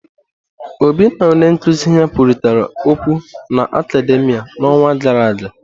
Obi na onye nkuzi ya kwurịta okwụ na akademìa n'ọnwa gara aga.